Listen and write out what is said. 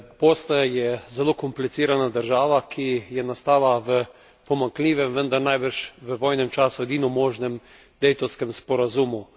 Bosna je zelo komplicirana država, ki je nastala v pomankljivem, vendar najbrž v vojnem času edino možnem Daytonskem sporazumu.